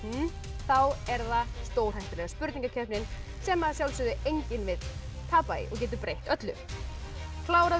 þá er það stórhættulega spurningakeppnin sem að sjálfsögðu enginn vill tapa í og getur breytt öllu kláraðu